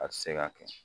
A tɛ se ka kɛ